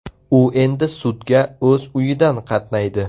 U endi sudga o‘z uyidan qatnaydi.